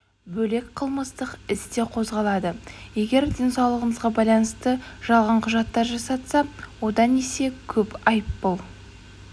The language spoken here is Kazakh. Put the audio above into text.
бөлек қылмыстық іс те қозғалады егер денсаулығына байланысты жалған құжаттар жасатса одан есе көп айыппұл